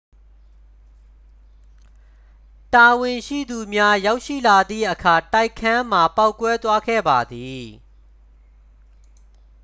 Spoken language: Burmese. တာဝန်ရှိသူများ ရောက်ရှိလာသည့်အခါ တိုက်ခန်းမှာပေါက်ကွဲသွားခဲ့ပါသည်